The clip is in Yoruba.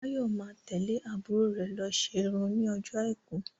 Báyọ̀ má tẹ́lẹ̀ àbúrò rè lọ ṣe irun ní ọjọ́ àìkú